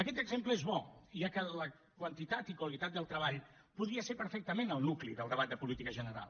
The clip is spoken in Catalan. aquest exemple és bo ja que la quantitat i qualitat del treball podria ser perfectament el nucli del debat de política general